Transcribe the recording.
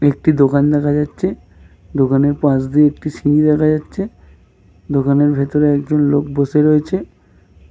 একটি দোকান দেখা যাচ্ছে। দোকানের পাশ দিয়ে একটি সিঁড়ি দেখা যাচ্ছে। দোকানে ভিতর একজন লোক বসে রয়েছে ।